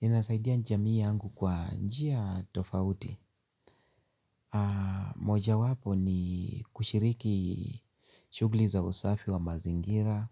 Ninasaidia jamii yangu kwa njia tofauti. Moja wapo ni kushiriki shughuli za usafi wa mazingira.